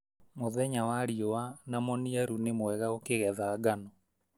Mũthenya wa riũa na mũniaru nĩ mwega ũkĩgetha ngano.